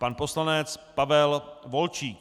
Pan poslanec Pavel Volčík.